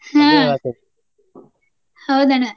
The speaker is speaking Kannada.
ಹ್ಮ್ ಹೌದಣ್ಣಾ.